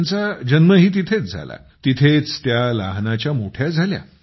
त्यांचा जन्मही तिथेच झाला तिथेच त्या लहानाच्या मोठ्या झाल्या